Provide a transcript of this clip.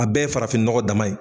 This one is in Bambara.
A bɛɛ ye farafin nɔgɔ dama ye.